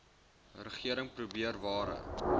regering probeer ware